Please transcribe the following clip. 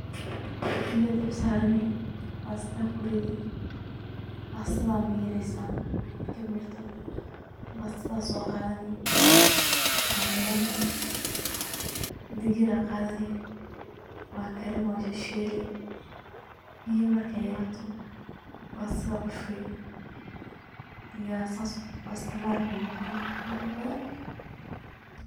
Biya aa dabka saarani, bastada akuridi, bastada mireysa, marki mirto bastada soo qaadani waa dhigani, digir aa qadani waa karini waa shishiili, biya markay yarato bastada kushubi diyar sas basta maraq uu noqona qurux badan